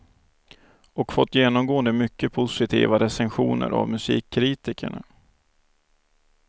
Och fått genomgående mycket positiva recensioner av musikkritikerna.